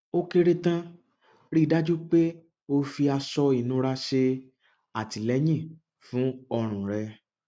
ó kéré tán rí i dájú pé o fi aṣọ ìnura ṣe ìtìlẹyìn fún ọrùn rẹ